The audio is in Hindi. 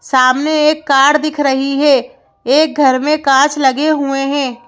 सामने एक कार दिख रही है एक घर में कांच लगे हुए हैं।